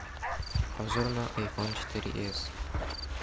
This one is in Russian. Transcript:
обзор на айфон четыре с